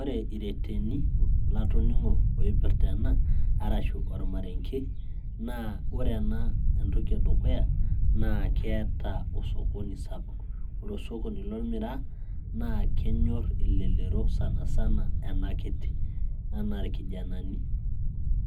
ore ireteni latoning'o oipirrta ena arashu ormarenge naa ore ena entoki edukuya naa keeta osokoni sapuk, ore osokoni lolmiraa naa kenyorr elelero sanasana ena kiti enaa irkijanani